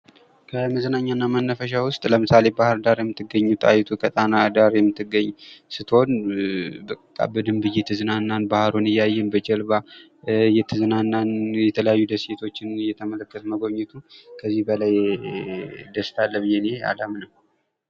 ከመዝናኛና መናፈሻ ውስጥ ለምሳሌ ባህርዳር የምትገኘው ጣይቱ ከጣና ዳር የምትገኘ ስትሆን በቃ በደንብ እየተዝናናን ፣ ባህሩን እያየን ፣ በጀልባ እየተዝናናን ፣ የተለያዩ ደሴቶችን እየተመለከትን መጎብኘት ነው ። ከዚህ በላይ ደስታ አለ ብዬ እኔ አላምንም ።